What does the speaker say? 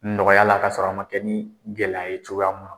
Nɔgɔya la kasɔrɔ a ma kɛ ni gɛlɛya ye cogoya ma